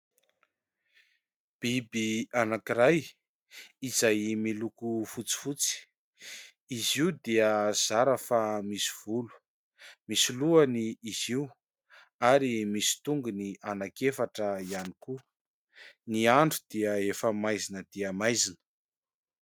Biby anankiray izay miloko fotsifotsy, izy io dia zara fa misy volo, misy lohany izy io ary misy tongony ananki-efatra ihany koa. Ny andro dia efa maizina dia maizina.